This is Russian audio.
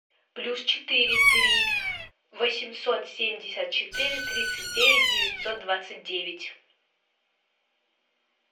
плюс четыре три восемьсот семьдесят четыре тридцать девять девятьсот двадцать девять